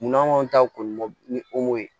Munna anw ta kɔni ni o ye